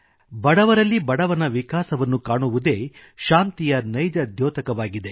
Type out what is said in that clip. ಬಡವರಲ್ಲಿ ಬಡವನ ವಿಕಾಸವನ್ನು ಕಾಣುವುದೇ ಶಾಂತಿಯ ನೈಜ ದ್ಯೋತಕವಾಗಿದೆ